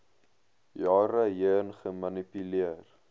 jare heen gemanipuleer